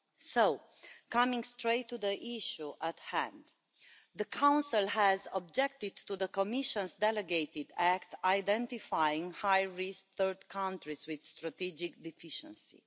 So, coming straight to the issue at hand, the Council has objected to the Commission's delegated act identifying high risk third countries with strategic deficiencies.